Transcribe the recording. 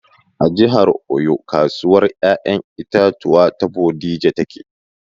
A jihar Oyo kasuwar ƴaƴan itatuwan ta bodija take